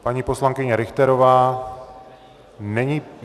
Paní poslankyně Richterová není...